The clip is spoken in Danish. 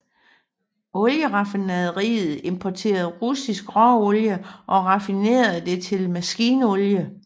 Olieraffinaderiet importerede russisk råolie og raffinerede det til maskinolie